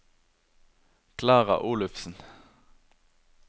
Klara Olufsen